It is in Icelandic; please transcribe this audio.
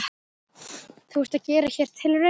Þú ert að gera hér tilraunir?